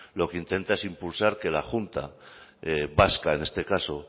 lo que intenta es impulsar que la junta vasca en este caso